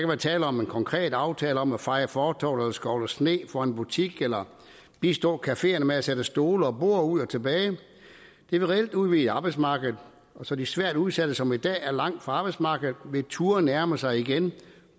være tale om en konkret aftale om at feje fortovet eller skovle sne foran en butik eller bistå cafeerne med at sætte stole og borde ud og tilbage igen det vil reelt udvide arbejdsmarkedet så de svært udsatte som i dag er langt fra arbejdsmarkedet vil turde nærme sig igen